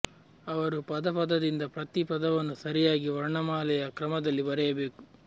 ಅವರು ಪದ ಪದದಿಂದ ಪ್ರತಿ ಪದವನ್ನು ಸರಿಯಾದ ವರ್ಣಮಾಲೆಯ ಕ್ರಮದಲ್ಲಿ ಬರೆಯಬೇಕು